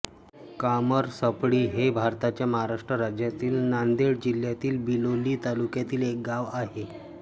कामरसपळ्ळी हे भारताच्या महाराष्ट्र राज्यातील नांदेड जिल्ह्यातील बिलोली तालुक्यातील एक गाव आहे